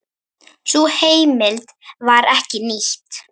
Sú heimild var ekki nýtt.